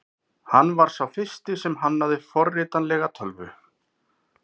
Hann var sá fyrsti sem hannaði forritanlega tölvu.